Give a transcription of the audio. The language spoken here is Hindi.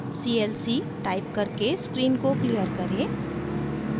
c l c टाइप करके स्क्रीन को क्लियर करें